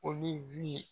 Olu